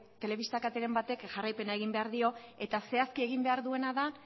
telebista kateren batek jarraipena egin behar dio eta zehazki egin behar duena da